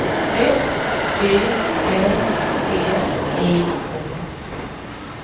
F Y R T I O